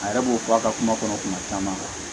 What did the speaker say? A yɛrɛ b'o fɔ a ka kuma kɔnɔ kuma caman